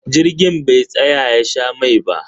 Jirgin be tsaya ya sha mai ba